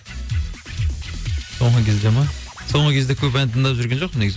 соңғы кезде ма соңғы кезде көп ән тыңдап жүрген жоқпын негізі